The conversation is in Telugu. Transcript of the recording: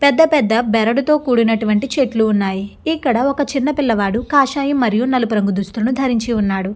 పెద్ద పెద్ద బెరడు తో కూడినటువంటి చెట్లు ఉన్నాయి ఇక్కడ ఒక చిన్న పిల్లవాడు కాషాయం మరియు నలుపు రంగు దుస్తులను ధరించి ఉన్నాడు.